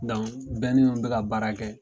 bɛ ka baara kɛ.